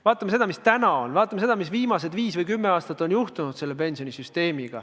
Vaatame seda, mis on juhtunud pensionisüsteemiga viimase viie või kümme aasta jooksul, ja opereerime nendes piirides.